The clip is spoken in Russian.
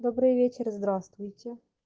добрый вечер здравствуйте